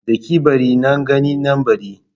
Daki-bari, nan gani nan bari